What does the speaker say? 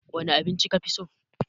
Wane abinci ka fi so?